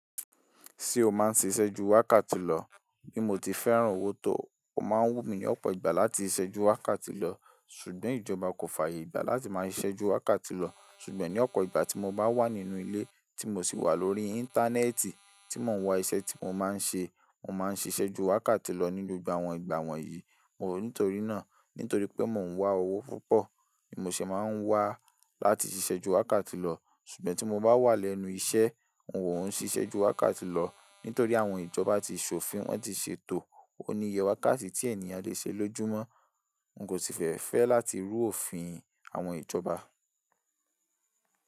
Ṣé o máa ń ṣiṣẹ́ ju wákàtí lọ? Bí mo ti fẹ́ràn owó tó, ọ̀ má ń wù mí ní ọ̀pọ̀ ìgbà láti ṣẹ́ ju wákàtí lọ, ṣùgbọ́n ìjọba kò fàyè ìgbà láti máa ṣiṣẹ́ ju wákàtí lọ. Ṣùgbọ́n ní ọ̀pọ̀ ìgbà tí mo bá wà nínú ilé, tí mo sì wà lórí Íńtánẹ́ẹ̀tì, tí mò ń wa iṣẹ́ tí mò maa ń ṣe, mò maa ń ṣíṣe ju wákàtí lọ ní gbogbo awon ìgbà wọ̀nyìí. Nítorí náà, nítorí pé mò ń wá owó púpọ̀, ni mo se máa ń wá láti ṣiṣẹ́ ju wákàtí lọ. Ṣùgbọ́n tí mo bá wà lẹ́nu iṣẹ́, un ò ún ṣiṣẹ́ ju wákàtí lọ, nítorí àwọn ìjọba ti ṣòfin, wọ́n ti ṣètò òníyè wakati tí ènìyàn lè ṣe lójúmọ́. N kò sí fẹ́ fẹ́ láti rú òfin àwọn ìjọba.